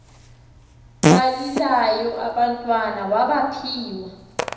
balilayo abantwana mabaphiwe